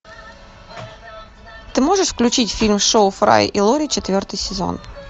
ты можешь включить фильм шоу фрая и лори четвертый сезон